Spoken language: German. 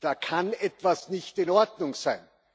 Da kann etwas nicht in Ordnung sein!